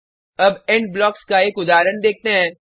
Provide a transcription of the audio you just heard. अब end blocks का एक उदाहरण देखते हैं